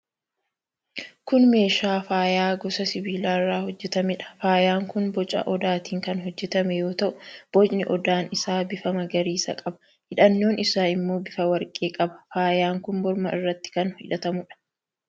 Kun meeshaa faayaa gosa sibiilaa irraa hojjetameedha. Faayaan kun boca odaatiin kan hojjetame yoo ta'u, bocni odaan isaa bifa magariisa qaba. Hidhannoon isaa immoo bifa warqee qaba. Faayaan kun morma irratti kan hidhatamuudha.